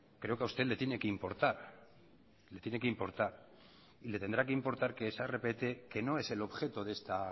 creo que a usted le tiene que importar le tiene que importar y le tendrá que importar que esa rpt que no es el objeto de esta